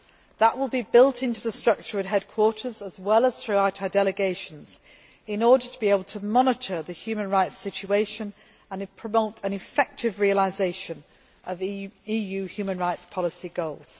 That will be built into the structure at headquarters as well as throughout our delegations in order to be able to monitor the human rights situation and promote an effective realisation of EU human rights policy goals.